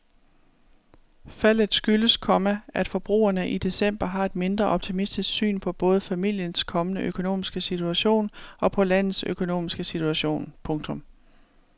Faldet skyldes, komma at forbrugerne i december har et mindre optimistisk syn på både familiens kommende økonomiske situation og på landets økonomiske situation. punktum